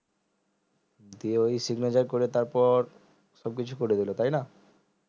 দিয়ে ওই signature করে তারপর সবকিছু করে দিলো তাইনা